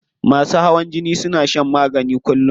Masu hawan jini suna shan magani kullum.